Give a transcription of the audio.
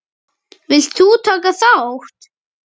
Vilt þú taka þátt?